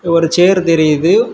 இங்க ஒரு சேரு தெரியுது.